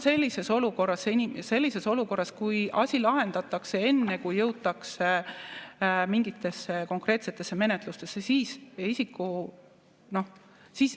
See on sellises olukorras, kui asi lahendatakse enne, kui jõutakse mingite konkreetsete menetlusteni.